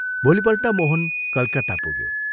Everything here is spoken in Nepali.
भोलिपल्ट मोहन कलकत्ता पुग्यो।